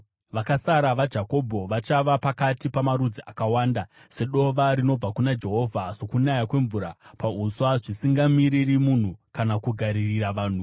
Vakasara vaJakobho vachava pakati pamarudzi akawanda, sedova rinobva kuna Jehovha, sokunaya kwemvura pauswa, zvisingamiriri munhu kana kugaririra vanhu.